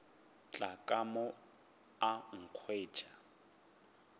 tla ka mo a nkhwetša